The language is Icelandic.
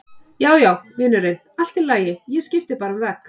Já, já, vinurinn, allt í lagi, ég skipti bara um vegg.